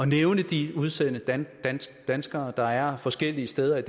nævne de udsendte danskere der er forskellige steder i